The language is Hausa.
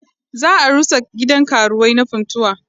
Za a rusa gidan karuwai na Funtuwa.